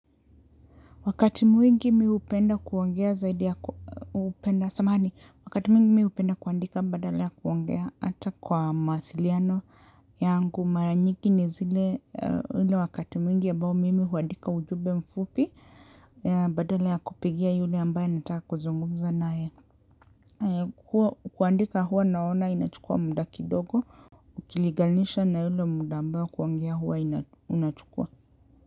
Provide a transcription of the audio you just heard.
Wakati mwingi mi hupenda kuongea zaidi ya upenda, samahani, wakati mwingi mi hupenda kuandika badala ya kuongea hata kwa mawasiliano yangu, mara nyingi ni zile, hile wakati mwingi ambao mimi huandika ujumbe mfupi, badala ya kupigia yule ambaye nataka kuzungumza na yeye. Kuandika huwa naona inachukua muda kidogo, ukilingalisha na yule muda ambaye kuongea huwa inachukua.